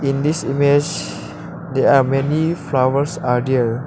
In this image there are many flowers are there.